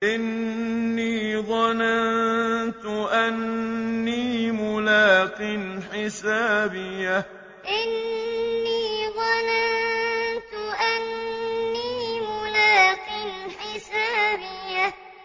إِنِّي ظَنَنتُ أَنِّي مُلَاقٍ حِسَابِيَهْ إِنِّي ظَنَنتُ أَنِّي مُلَاقٍ حِسَابِيَهْ